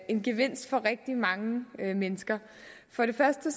en gevinst for rigtig mange mennesker for det første